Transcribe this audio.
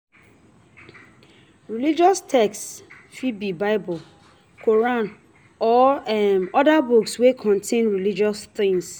Religious text fit be bible, Quran or oda book wey contain religious things